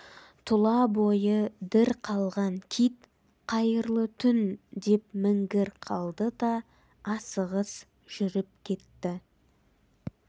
тұла бойы дір қалған кит қайырлы түн деп міңгір қалды да асығыс жүріп кетті